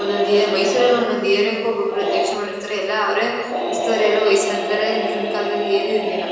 ಒಂದೊಂದ್ ಎ ಮೈಸೂರಲ್ ಒಂದೊಂದು ಏರಿಯಾಕ್ಕೂ ಒಬ್ಬೊಬ್ರು ಅದ್ಯಕ್ಷಗಳಿರ್ತರೆ ಎಲ್ಲ ಅವ್ರೆ ಉಸ್ತುವಾರಿ ಎಲ್ಲಾ ವಹಿಸ್ಕೊಂಡಿರ್ತರೆ ಹಿಂದಿನ್ ಕಾಲದಲ್ಲಿ ಏನು ಇರ್ಲಿಲ್ಲ.